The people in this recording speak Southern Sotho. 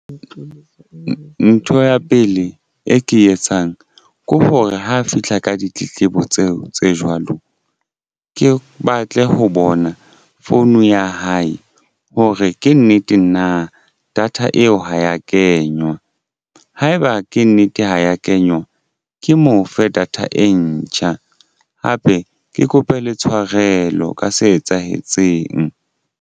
Ntho ya pele e ke e etsang ke hore ha fihla ka ditletlebo tseo tse jwalo ke batle ho bona phone ya hae hore ke nnete na data eo ha ya kenywa haeba ke nnete ha ya kenywa ke mo fe data e ntjha. Hape ke kope le tshwarelo ka se etsahetseng.